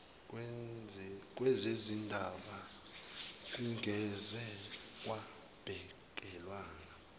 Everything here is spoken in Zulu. wezezindaba kungeze kwabhekelwa